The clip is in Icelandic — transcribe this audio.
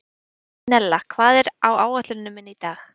Marinella, hvað er á áætluninni minni í dag?